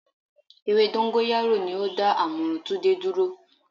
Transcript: Ewé dóngóyárò ni o dá àmúrun Túndé dúró